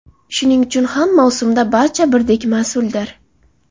Shuning uchun ham mavsumda barcha birdek mas’uldir.